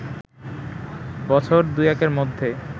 বছর দু-একের মধ্যে